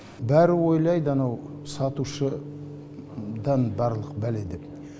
бәрі ойлайды анау сатушыдан барлық бәле деп